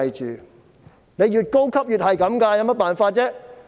職位越高便越是這樣，有甚麼辦法呢？